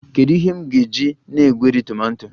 Kedu ihe m ga-eji na-egweri tomato?